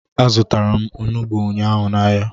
Azụtara m onugbu ụnyaahụ n'ahia